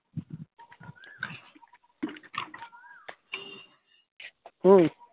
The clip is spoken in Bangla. হম ।